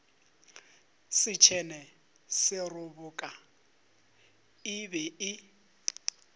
setšhene seroboka e be e